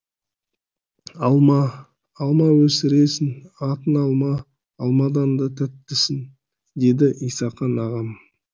алма алма өсіресің атың алма алмадан да тәттісің деді исақан ағам